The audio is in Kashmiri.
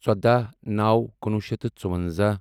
ژۄداہ نَوو کُنوُہ شیٚتھ تہٕ ژوٚوَنٛزاہ